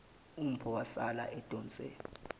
umpho wasala edonse